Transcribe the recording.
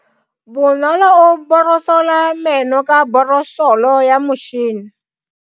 Bonolo o borosola meno ka borosolo ya motšhine.